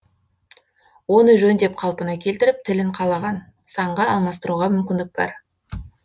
оны жөндеп қалпына келтіріп тілін қалаған санға алмастыруға мүмкіндік бар